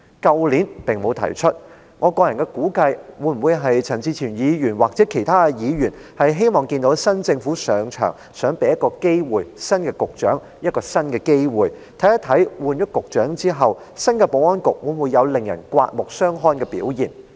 去年並沒有提出類似的修正案，我個人估計或會是陳志全議員或其他議員希望在新政府剛上場時，想給新任局長一個機會，看看換了人以後，新的保安局會否有令人刮目相看的表現。